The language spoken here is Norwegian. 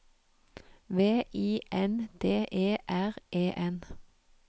V I N D E R E N